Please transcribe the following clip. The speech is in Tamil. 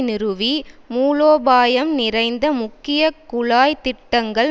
நிறுவி மூலோபாயம் நிறைந்த முக்கிய குழாய் திட்டங்கள்